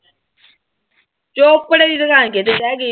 ਚੋਪੜੇ ਦੀ ਦੁਕਾਨ ਕਿਤੇ ਰਹਿ ਗਈ।